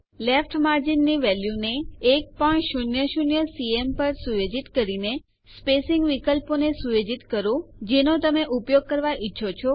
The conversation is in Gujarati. લેફ્ટ માર્જિન ની વેલ્યુ ને 100સીએમ પર સુયોજિત કરીને સ્પેસીંગ વિકલ્પોને સુયોજિત કરો જેનો તમે ઉપયોગ કરવા ઈચ્છો છો